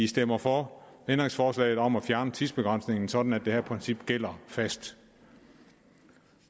stemmer for ændringsforslaget om at fjerne tidsbegrænsningen sådan at det her princip gælder fast